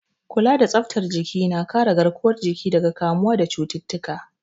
Kula da tsaftar jiki na kare garkuwar jiki daga kamuwa da cututtuka.